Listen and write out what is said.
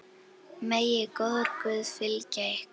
Megi góður Guð fylgja ykkur.